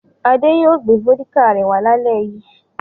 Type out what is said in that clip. Ade yóò gbé vódíkà rẹ̀ wá lálẹ́ yìí.